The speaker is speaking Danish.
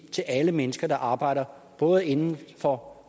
til alle mennesker der arbejder både inden for